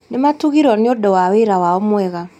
Nĩ matugirwo nĩ ũndũ wa wĩra wao mwega